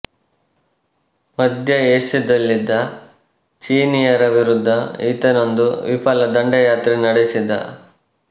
ಮಧ್ಯ ಏಷ್ಯದಲ್ಲಿದ್ದ ಚೀನೀಯರ ವಿರುದ್ಧ ಈತನೊಂದು ವಿಫಲ ದಂಡಯಾತ್ರೆ ನಡೆಸಿದ